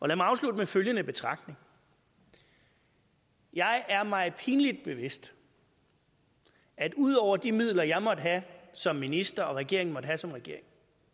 lad mig afslutte med følgende betragtning jeg er mig pinlig bevidst at ud over de midler jeg måtte have som minister og regeringen måtte have som regering